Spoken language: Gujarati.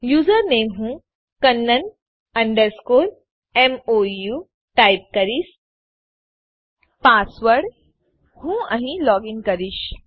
યુઝરનેમ હું કન્નન અંડરસ્કોર મોઉ ટાઈપ કરીશ પાસવર્ડ હું અહીં લોગીન કરીશ